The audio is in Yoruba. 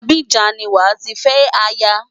Abidjan ni wàá ti fẹ́ aya.